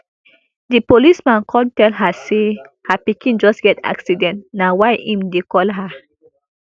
di policeman kon tell her say her pikin just get accident na why im dey call her